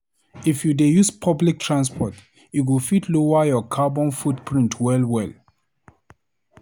If you dey use public transport, e go fit lower your carbon footprint well-well.